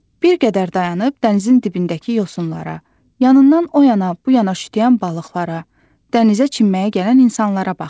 Bir qədər dayanıb dənizin dibindəki yosunlara, yanından o yana, bu yana şütüyən balıqlara, dənizə çimməyə gələn insanlara baxdı.